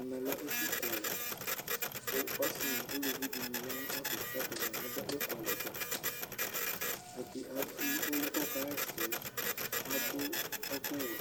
ɛmɛ lɛ ɛƒʋ kʋalɛ kʋ ɔsii nʋ ʋlʋvi di yanʋ ɛƒɛ kʋ adʋ ɛkʋalɛ dza, ɔlʋɛ kʋ ɔkayɛsɛ adʋ ɛkʋ wɛ